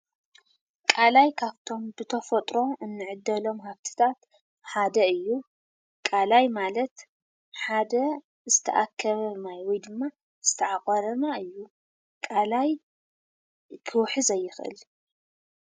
ቃላይ ካብቶም ብተፈጥሮ እንዕደሎም ሃብትታት ሓደ እዩ። ቃላይ ማለት ሓደ ዝተኣከበ ማይ ወይ ድማ ዝተዓቖረ ማይ እዩ። ቃላይ ክውሕዝ ኣይኽእን።